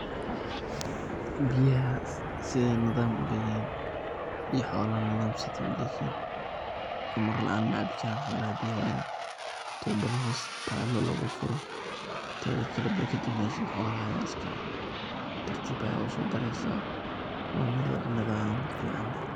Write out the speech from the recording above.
Biyaha sidey nidan uleyihin iyo xolaha nidam sidey uleyihin amar laan macabi karan xolaha biyaha waina tubada hoos talo logafuro tedakale barkada meshan xoloha aya iskaleh oo tartib aya ogasodareysa wa meel aad iyo aad nidaam fican uleh.